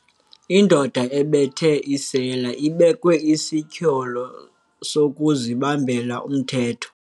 Indoda ebethe isela ibekwe isityholo sokuzibambela umthetho.